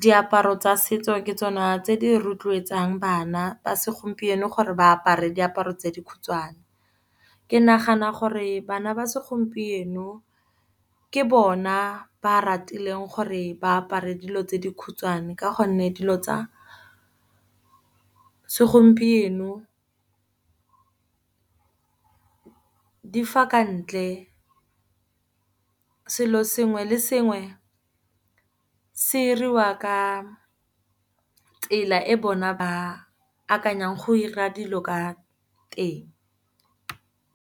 diaparo tsa setso ke tsona tse di rotloetsang bana ba segompieno gore ba apare diaparo tse di khutshwane. Ke nagana gore bana ba segompieno ke bona ba ratileng gore ba apare dilo tse di khutshwane, ka gonne dilo tsa segompieno di fa ka ntle. Selo sengwe le sengwe se diriwa ka tsela e bona ba akanyang go dira dilo ka teng.